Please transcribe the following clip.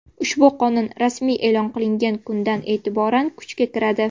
Ushbu qonun rasmiy e’lon qilingan kundan e’tibordan kuchga kiradi.